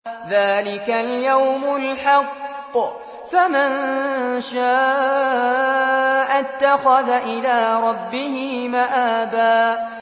ذَٰلِكَ الْيَوْمُ الْحَقُّ ۖ فَمَن شَاءَ اتَّخَذَ إِلَىٰ رَبِّهِ مَآبًا